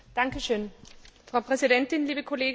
Frau Präsidentin, liebe Kolleginnen und Kollegen!